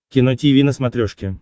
кино тиви на смотрешке